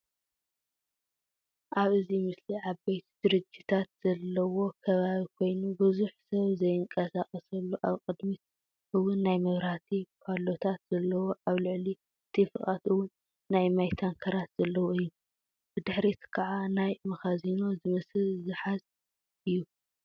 ኣብ እዚ ምስሊ ዓበይቲ ድርጅታት ዘለዎ ከባቢ ኮይኑ ብዙሕ ሰብ ዘይንቀሳቀሰሉ ኣብ ቅድሚት እውን ናይ መብራህቲ ባሎታት ዘለዎ ኣብ ልእሊ እቲ ፉቓት እውን ናይ ማይ ታንክራት ዘለዎ እዩ። ብድሕሪት ከዓ ናይ መኻዚኖ ዝመስል ዝሓዝ እዩ።